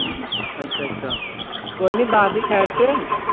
ਅੱਛਾ ਅੱਛਾ, ਕੋਈ ਨੀ ਦੱਸਦੀ ਠਹਿਰ ਕੇ।